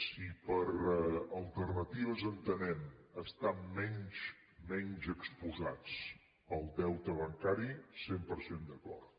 si per alternatives entenem estar menys exposats al deute bancari cent per cent d’acord